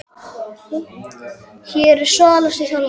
Hver er svalasti þjálfarinn?